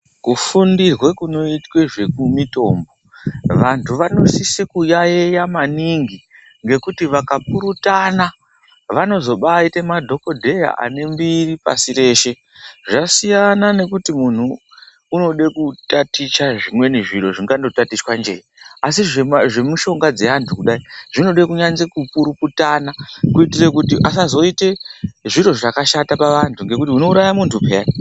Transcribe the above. Kufundirwe kunotwa zvemitombo vantu vanosise kuyaiya maningi ngekuti vakapurutana vanozobaite madhogodheya anembiri pashi reshe. Zvasiyana nekuti muntu unode kutaticha zvimweni zviro zvingangotatichwa jee. Asi zvemishonga dzeantu kudai zvinode kuvanze kupurutana. Kuitire kuti asazoite zviro zvakashata pavantu ngekuti unouraya muntu peya.